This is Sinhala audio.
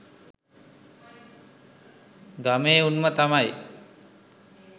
ගමේ උන්ම තමයි